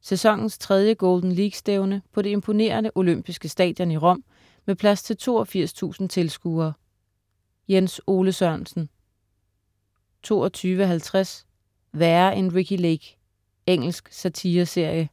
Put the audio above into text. Sæsonens tredje Golden League-stævne på det imponerende olympiske stadion i Rom med plads til 82.000 tilskuere. Jens Ole Sørensen 22.50 Værre end Ricki Lake. Engelsk satireserie